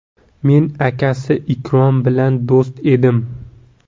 Men akasi Ikrom bilan do‘st edim.